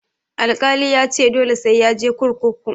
Alkali yace dole sai yaje kurkuku.